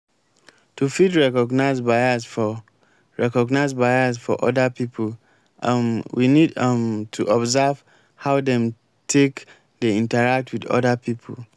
to fit recognize bias for recognize bias for oda pipo um we need um to observe how dem take dey interact with oda pipo